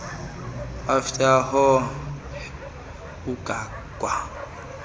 efort hare ugangwa